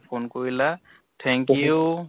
phone কৰিলা thank you